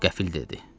qəfil dedi.